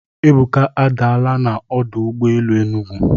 Ebuka adaala na ọdụ ụgbọ elu Enugu.